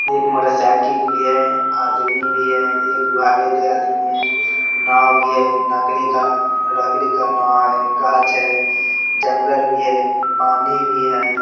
एक मोटरसाईकिल भी है | आदमी भी है | एक उघारे देह आदमी है | नाव भी है लकड़ी का लकड़ी का नाव है गाछ है जंगल भी है पानी भी है।